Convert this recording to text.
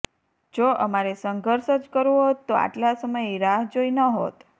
જો અમારે સંઘર્ષ જ કરવો હોત તો આટલા સમય રાહ જોઈ નહોત